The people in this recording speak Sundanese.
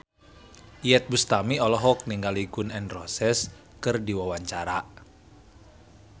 Iyeth Bustami olohok ningali Gun N Roses keur diwawancara